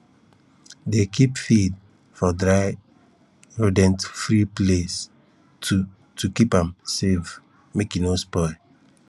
dey keep feed for dry rodentfree place to to keep am safe make e no spoil